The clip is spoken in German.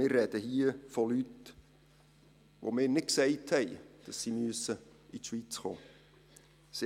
Wir sprechen hier von Leuten, von denen wir nicht gesagt haben, dass sie in die Schweiz kommen müssen.